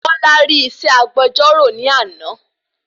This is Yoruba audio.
Bola rí isẹ́ agbejọ́rọ̀ ni àná